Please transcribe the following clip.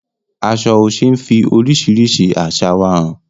Aṣọ Oṣé ń fi oríṣiríṣi àṣà wa hàn.